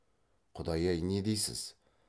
құдай ай не дейсіз